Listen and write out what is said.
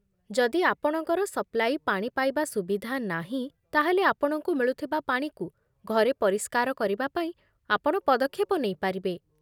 ଯଦି ଆପଣଙ୍କର ସପ୍ଲାଇ ପାଣି ପାଇବା ସୁବିଧା ନାହିଁ, ତା'ହେଲେ ଆପଣଙ୍କୁ ମିଳୁଥିବା ପାଣିକୁ ଘରେ ପରିଷ୍କାର କରିବାପାଇଁ ଆପଣ ପଦକ୍ଷେପ ନେଇପାରିବେ